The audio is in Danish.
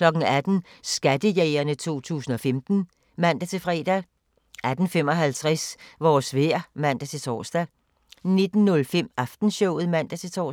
18:00: Skattejægerne 2015 (man-fre) 18:55: Vores vejr (man-tor) 19:05: Aftenshowet (man-tor)